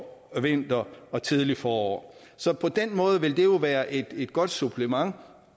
vinteren og det tidlige forår så på den måde vil det jo være et godt supplement